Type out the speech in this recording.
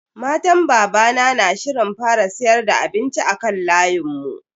Matan babana na shirin fara siyar da abinci a kan layin mu.